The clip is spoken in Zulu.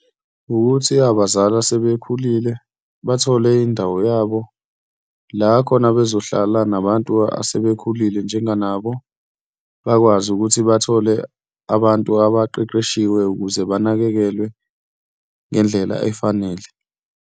Wukuthi abazali asebekhulile bathole indawo yabo la khona bezohlala nabantu asebekhulile njenganabo bakwazi ukuthi bathole abantu abaqeqeshiwe ukuze banakekelwe ngendlela efanele.